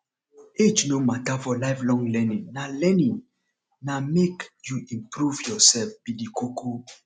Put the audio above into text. age no matter for lifelong learning na learning na make you improve yourself be the koko